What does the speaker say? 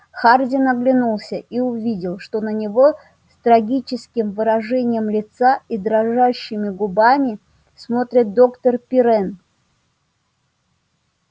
хардин оглянулся и увидел что на него с трагическим выражением лица и дрожащими губами смотрит доктор пиренн